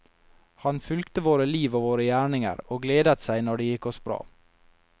Han fulgte våre liv og våre gjerninger, og gledet seg når det gikk oss bra.